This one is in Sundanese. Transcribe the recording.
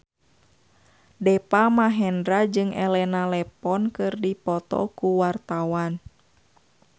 Deva Mahendra jeung Elena Levon keur dipoto ku wartawan